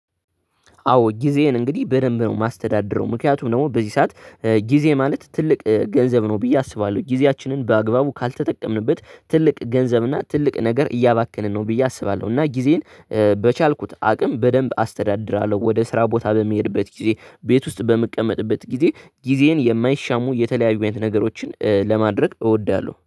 አዎ ጊዜዬን እንግዲህ በደንብ ነው የማስተዳድረው ምክንያቱም ደግሞ በዚህ ሰዓት ጊዜ ማለት ትልቅ ገንዘብ ነው ብዬ አስባለሁ ጊዜያችንን በአግባቡ ካልተጠቀምንበት ትልቅ ገንዘብ እና ትልቅ ነገር እያባከንን ነው ብዬ አስባለሁ። እና ጊዜን በቻልኩት አቅም በደንብ አስተዳድራለሁ። ወደ ስራ ቦታ በሚሄድበት ጊዜ ቤት ውስጥ በምቀመጥበት ጊዜ ጊዜዬን የማይሻሙ የተለያዩ አይነት ነገሮችን ለማድረግ እወዳለሁ